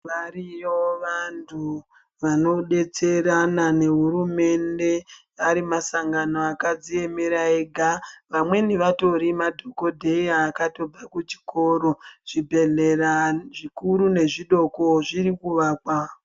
Variyo vanthu vanodetserana nehurumende ari masangano akadziemera ega vamweni vatori madhokodheya akatobve kuchikoro, chibhedhlera zvikuru nezvidoko zviti kuakwa.